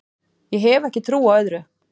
Ég hef ekki trú á öðru